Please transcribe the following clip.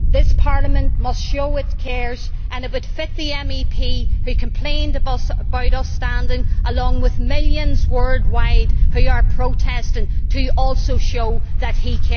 This Parliament must show it cares, and it would befit the MEP who complained about us standing along with millions worldwide who are protesting to also show that he